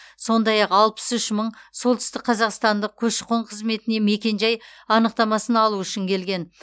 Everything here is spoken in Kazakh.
сондай ақ алпыс үш мың солтүстікқазақстандық көші қон қызметіне мекен жай анықтамасын алу үшін келген